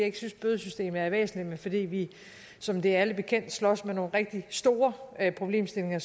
ikke synes at bødesystemet er væsentligt men fordi vi som det er alle bekendt slås med nogle rigtig store problemstillinger